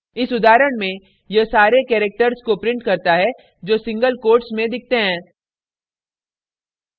इस उदाहरण में यह सारे characters को prints करता है जो single quotes में दिखते हैं